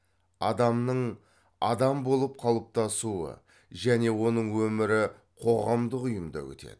адамның адам болып қалыптасуы және оның өмірі қоғамдық ұйымда өтеді